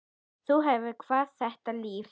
Þú hefur kvatt þetta líf.